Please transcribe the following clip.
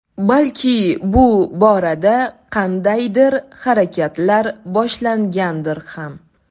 Balki bu borada qandaydir harakatlar boshlangandir ham.